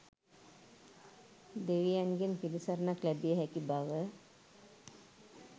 දෙවියන්ගෙන් පිළිසරණක් ලැබිය හැකි බව